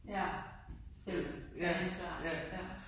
Ja. Selv tage ansvar ja